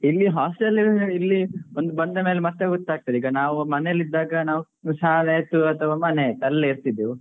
ಇಲ್ಲಿ hostel ಅಲ್ಲಿ ಇಲ್ಲಿ ಬಂದ ಮೇಲೆ ಮತ್ತೆ ಗೊತ್ತಾಗ್ತದೆ. ಈಗ ನಾವ್ ಮನೇಲಿ ಇದ್ದಾಗ ನಾವ್ ಶಾಲೆ ಆಯ್ತು ಮನೆ ಆಯ್ತು ಅಲ್ಲೇ ಇರ್ತಿದ್ವು,